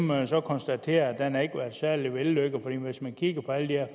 man så konstatere været særlig vellykket for hvis man kigger på alle de her